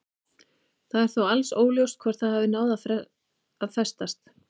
Það er þó alls óljóst hvort það hafi náð að festast.